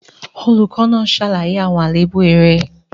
Olùkọ́ náà ṣàlàyé àwọn àléébù eré.